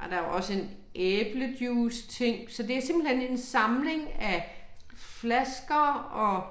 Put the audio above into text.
Ah der er også en æblejuiceting så det er simpelthen en samling af flasker og